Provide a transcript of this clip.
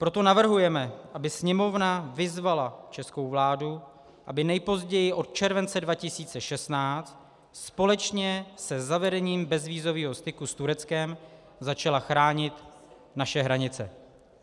Proto navrhujeme, aby Sněmovna vyzvala českou vládu, aby nejpozději od července 2016 společně se zavedením bezvízového styku s Tureckem začala chránit naše hranice.